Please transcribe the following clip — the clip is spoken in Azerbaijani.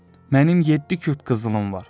Mənim yeddi küp qızılım var.